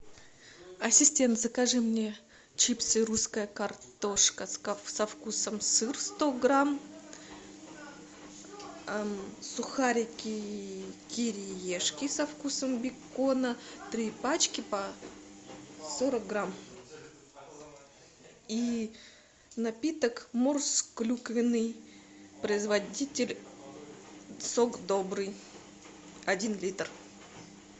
ассистент закажи мне чипсы русская картошка со вкусом сыр сто грамм сухарики кириешки со вкусом бекона три пачки по сорок грамм и напиток морс клюквенный производитель сок добрый один литр